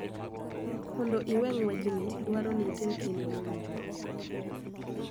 Mondo iwe ng�wechni dwaro ni itim kinda mowinjore,